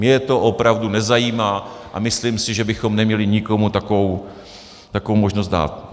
Mě to opravdu nezajímá a myslím si, že bychom neměli nikomu takovou možnost dát.